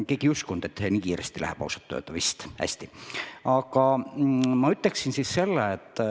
Ausalt öeldes keegi vist ei uskunud, et see kõik nii kiiresti käib.